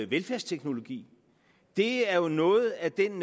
velfærdsteknologi det er jo noget af den